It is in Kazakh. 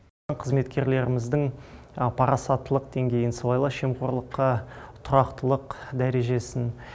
қызметкерлеріміздің парасаттылық деңгейін сыбайлас жемқорлыққа тұрақтылық дәрежесін